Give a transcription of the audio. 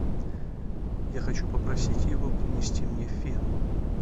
я хочу попросить его принести мне фен